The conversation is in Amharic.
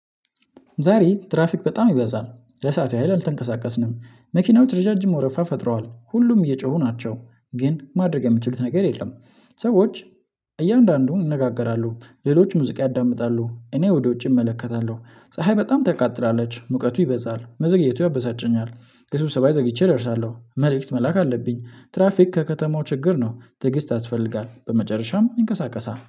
ዛሬ ትራፊክ በጣም ይበዛል ለሰአቱ ሀይል አልተንቀሳቀስንም። መኪናው ርጃጅም ወረፋ ፈጥረዋል ሁሉም እየጮሁ ናቸው። ግን ማድረግ የምችሉት ነገር የለም። ሰዎች እያንዳንዱን እንነጋገራለሁ። ሌሎች ሙዚቃ ያዳምጣሉ እኔ ወደ ውጭ እመለከታለሁ። ፀሀይ በጣም ትቃጥለለች ሙቀቱ ይበዛል መዘግየቱ ያበሳጨኛል። ከስብሰባ ዘግይቼ እደረሳለሁ መልእክት መላክ አለብኝ። ትራፊክ ከከተማው ችግር ነው። ትዕግስት ያስፈልጋል በመጨረሻም ይንቀሳቀሳ